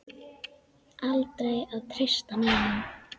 Aldrei að treysta neinum.